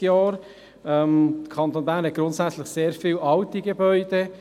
Der Kanton Bern hat grundsätzlich sehr viele alte Gebäude.